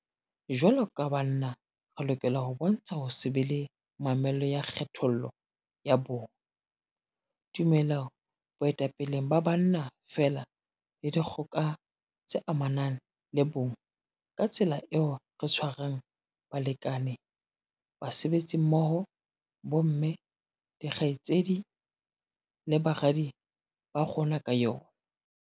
Jwaloka banna re lokela ho bontsha ho se be le mamello ya kgethollo ya bong, tumelo boetapeleng ba banna feela le dikgoka tse amanang le bong ka tsela eo re tshwarang balekane, basebetsimmoho, bomme, dikgaitsedi le baradi ba rona ka yona.